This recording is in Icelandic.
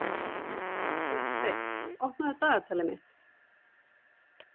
Hauksteinn, opnaðu dagatalið mitt.